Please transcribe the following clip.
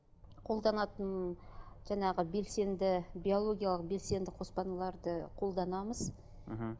қолданатын жаңағы белсенді биологиялық белсенді қоспаларды қолданамыз мхм